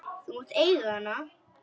Þú mátt eiga hana!